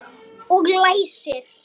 Og læsir.